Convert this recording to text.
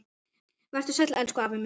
Vertu sæll, elsku afi minn.